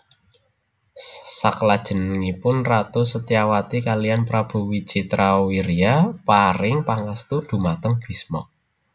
Saklajengipun Ratu Setyawati kaliyan Prabu Wicitrawirya paring pangestu dhumateng Bisma